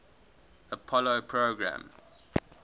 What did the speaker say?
apollo program